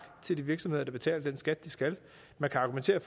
til de virksomheder der betaler den skat de skal man kan argumentere